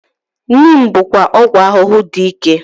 Neem bụkwa ọgwụ ahụhụ dị ike.